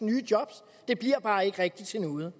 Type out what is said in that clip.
nye job det bliver bare ikke rigtig til noget